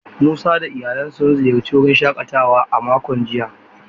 Musa da iyalansa sun ziyarci wurin shakatawa a makon jiya.